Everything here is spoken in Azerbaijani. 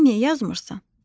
Sən niyə yazmırsan?